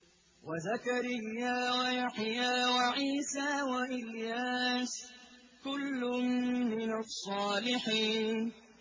وَزَكَرِيَّا وَيَحْيَىٰ وَعِيسَىٰ وَإِلْيَاسَ ۖ كُلٌّ مِّنَ الصَّالِحِينَ